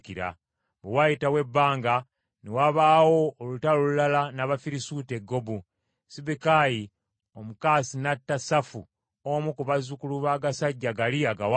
Bwe waayitawo ebbanga ne wabaawo olutalo olulala n’Abafirisuuti e Gobu. Sibbekayi Omukusasi n’atta Safu omu ku bazzukulu b’agasajja gali agawanvu.